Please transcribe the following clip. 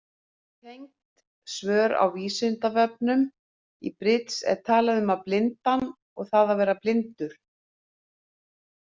Tengd svör á Vísindavefnum: Í bridds er talað um blindan og það að vera blindur.